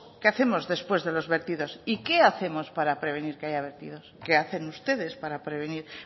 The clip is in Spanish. que hacemos después de los vertidos y qué hacemos para prevenir que haya vertidos qué hacen ustedes para prevenir